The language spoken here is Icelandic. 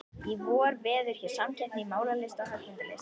Í vor verður hér samkeppni í málaralist og höggmyndalist.